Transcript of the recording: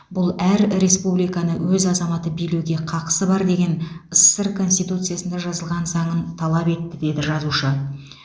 бұл әр республиканы өз азаматы билеуге қақысы бар деген ссср конституциясында жазылған заңын талап етті деді жазушы